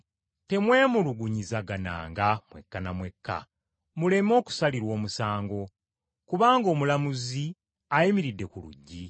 Temwemulugunyizagananga mwekka na mwekka, muleme okusalirwa omusango, kubanga Omulamuzi ayimiridde ku luggi.